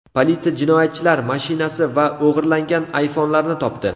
Politsiya jinoyatchilar mashinasi va o‘g‘irlangan iPhone’larni topdi.